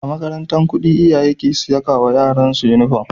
A makarantar kudi iyaye ke saiwa yaran su inufom